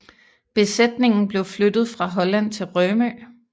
Besætningen blev flyttet fra Holland til Rømø